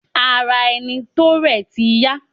Ara ẹni tó rẹ̀ ti yá.